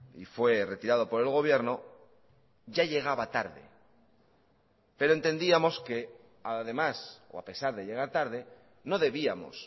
y fue retirado por el gobierno ya llegaba tarde pero entendíamos que además o a pesar de llegar tarde no debíamos